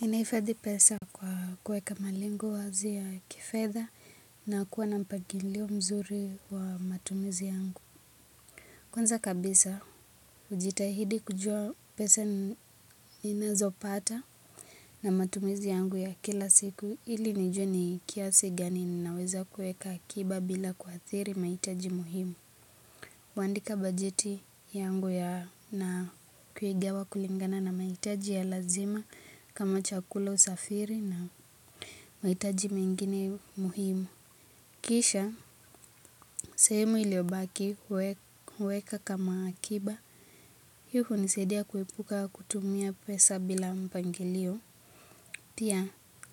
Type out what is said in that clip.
Ninahifadhi pesa kwa kuweka malengo wazi ya kifedha na kuwa na mpangilio mzuri wa matumizi yangu. Kwanza kabisa hujitahidi kujua pesa ninazo pata na matumizi yangu ya kila siku ili nijue ni kiasi gani ninaweza kuweka akiba bila kuadhiri mahitaji muhimu. Huandika bajeti yangu na kuigawa kulingana na mahitaji ya lazima kama chakula usafiri na mahitaji mengine muhimu. Kisha, sehemu iliyobaki huweka kama akiba. Hii hunisaidia kuepuka kutumia pesa bila mpangilio. Pia,